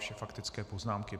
Vše faktické poznámky.